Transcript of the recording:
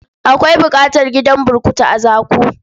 Akwai buƙatar gidan burkutu a Zaku.